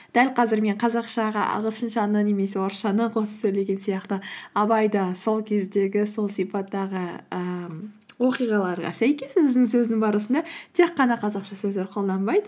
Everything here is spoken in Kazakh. дәл қазір мен қазақшаға ағылшыншаны немесе орысшаны қосып сөйлеген сияқты абай да сол кездегі сол сипаттағы ііі оқиғаларға сәйкес өзінің сөзінің барысында тек қана қазақша сөздер қолданбайды